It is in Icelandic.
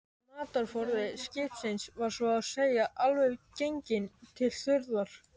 Matarforði skipsins var svo að segja alveg genginn til þurrðar.